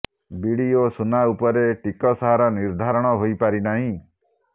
BD ଓ ସୁନା ଉପରେ ଟିକସ ହାର ନିର୍ଧାରଣ ହୋଇପାରିନାହିଁ